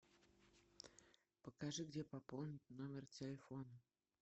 покажи где пополнить номер телефона